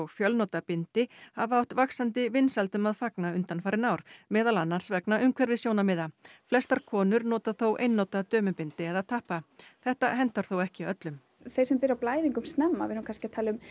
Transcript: fjölnota bindi hafa átt vaxandi vinsældum að fagna undanfarin ár meðal annars vegna umhverfissjónarmiða flestar konur nota þó einnota dömubindi eða tappa þetta hentar þó ekki öllum þeir sem byrja á blæðingum snemma kannski